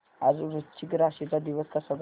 आज वृश्चिक राशी चा दिवस कसा जाईल